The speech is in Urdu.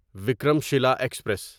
وکرم شیلہ ایکسپریس